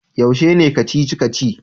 Yaushe ne Kacici-kaci?